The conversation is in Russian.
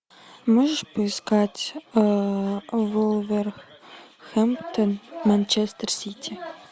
можешь поискать вулверхэмптон манчестер сити